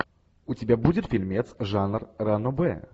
у тебя будет фильмец жанр ранобэ